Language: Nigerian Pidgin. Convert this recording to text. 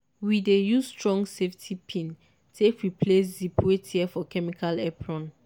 we dey use strong safety pin take replace zip wey tear for chemical apron.